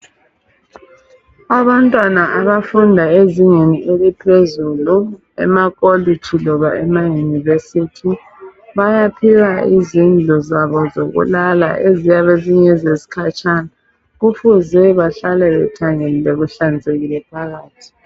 Abantwana abafunda ezingeni eliphezulu emakolitshi loba emaYunivesithi bayaphiwa izindlu zabo zokulala ezabe zingezesikhatshana kufuze behlale kuthanyeliwe kuhlanzekile phakathi.